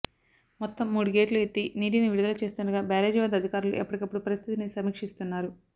మొత్తం మూడు గేట్లు ఎత్తి నీటిని విడుదల చేస్తుండగా బ్యారేజీ వద్ద అధికారులు ఎప్పటికప్పుడు పరిస్థితిని సమీక్షిస్తున్నారు